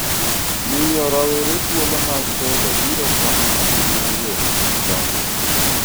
miyo rawere thuolo mag telo biro konyo ahinya yore mag dongruok